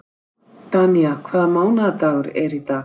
Danía, hvaða mánaðardagur er í dag?